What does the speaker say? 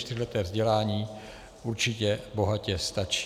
Čtyřleté vzdělání určitě bohatě stačí.